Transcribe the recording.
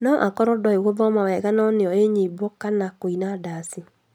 Noakorwo ndoĩ gũthoma wega no nĩoi nyĩmbo kana kũina ndaci